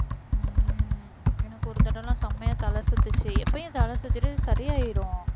உம் எனக்கு ஒரு தடவை எல்லாம் செமையா தலை சுத்துச்சு எப்பவும் தலை சுத்திட்டு சரியாயிரும்